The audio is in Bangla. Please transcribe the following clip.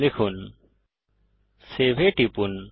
লিখুন সেভ এ টিপুন